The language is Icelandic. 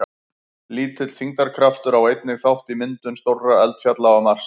Lítill þyngdarkraftur á einnig þátt í myndum stórra eldfjalla á Mars.